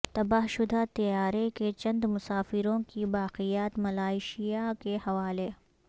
تباہ شدہ طیارے کے چند مسافروں کی باقیات ملائیشیا کے حوالے